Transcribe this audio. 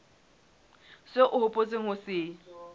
seo o hopotseng ho se